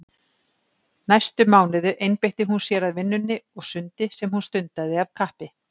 Næstu mánuði einbeitti hún sér að vinnunni og sundi sem hún stundaði af kappi.